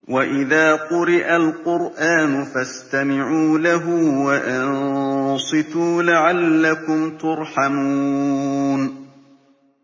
وَإِذَا قُرِئَ الْقُرْآنُ فَاسْتَمِعُوا لَهُ وَأَنصِتُوا لَعَلَّكُمْ تُرْحَمُونَ